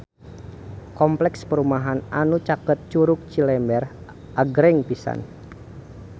Kompleks perumahan anu caket Curug Cilember agreng pisan